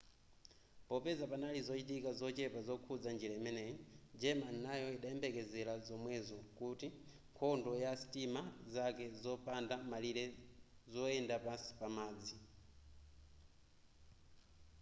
popeza panali zochitika zochepa zokhuza njira imeneyi germany nayo idayembekezera zomwezo ku nkhondo ya sitima zake zopanda malire zoyenda pansi pa madzi